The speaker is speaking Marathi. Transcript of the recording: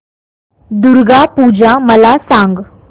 दुर्गा पूजा मला सांग